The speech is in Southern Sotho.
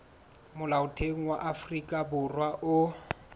molaotheo wa afrika borwa o